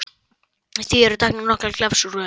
Því eru hér teknar nokkrar glefsur úr þeim